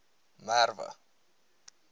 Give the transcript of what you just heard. merwe